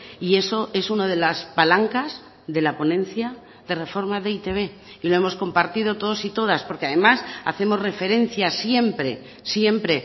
y eso es una de las palancas de la ponencia de reforma de e i te be y lo hemos compartido todos y todas porque además hacemos referencia siempre siempre